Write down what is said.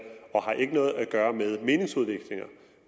og har ikke noget at gøre med meningsudvekslinger